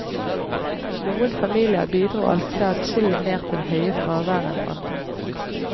Noen familier bidro altså adskillig mer til det høye fraværet enn andre.